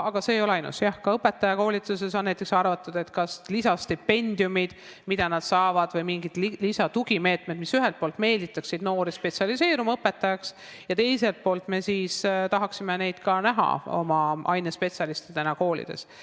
Aga see ei ole ainus valdkond, jah, on näiteks arvatud, et ka õpetajakoolituses võiksid olla kas lisastipendiumid või mingid tugimeetmed, mis ühelt poolt meelitaksid noori õpetajaks spetsialiseeruma ja teiselt poolt me tahaksime neid näha ka ainespetsialistidena koolides.